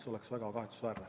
See oleks väga kahetsusväärne.